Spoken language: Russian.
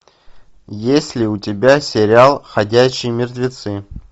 есть ли у тебя сериал ходячие мертвецы